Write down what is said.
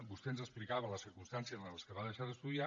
vostè ens explicava les circumstàncies en què va deixar d’estudiar